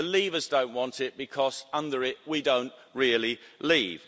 The leavers don't want it because under it we don't really leave.